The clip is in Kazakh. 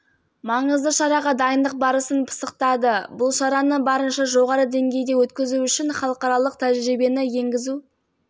іске асырылуда бұл бағытта орталық сайлау комиссиясының делегациясы тәжірибе алмасу мақсатында алғашқы сапарын молдова республикасына